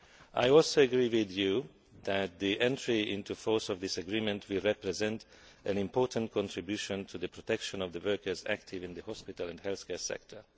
I also agree with you that the entry into force of this agreement will represent an important contribution to the protection of workers active in the hospital and healthcare sector.